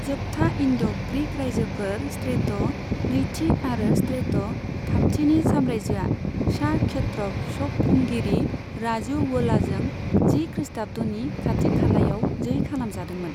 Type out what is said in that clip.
जोबथा Indo Greek रायजोफोर, Strato नैथि आरो स्ट्रेट' थामथिनि साम्रायजोआ सा क्षत्रप शक खुंगिरि, राजुवुलाजों जि खृष्टाब्दनि खाथि खालायाव जै खालामजादोंमोन।